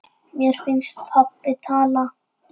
Mér finnst pabbi tala.